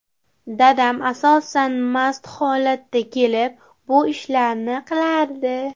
Dadam asosan mast holatda kelib, bu ishlarni qilardi.